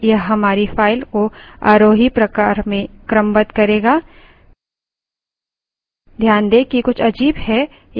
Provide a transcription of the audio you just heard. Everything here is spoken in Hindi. numbers txt यह हमारी file को आरोही प्रकार में क्रमबद्ध करेगा